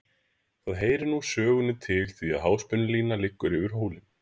Það heyrir nú sögunni til því að háspennulína liggur yfir hólinn.